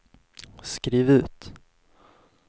skriv ut